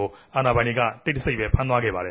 ု အာဏာပိုင်တေကြ တိတ်တဆိတ် ဖမ်းဆီးခဲ့ပၝတယ